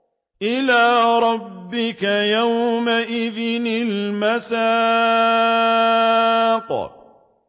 إِلَىٰ رَبِّكَ يَوْمَئِذٍ الْمَسَاقُ